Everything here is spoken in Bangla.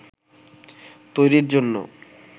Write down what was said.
তৈরির জন্য